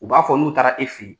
U b'a fɔ n'u taara e fɛ ye